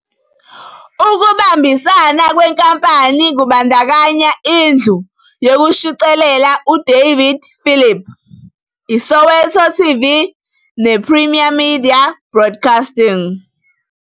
Ukubambisana kwenkampani kubandakanya indlu yokushicilela uDavid Philip, iSoweto TV nePrimedia Broadcasting.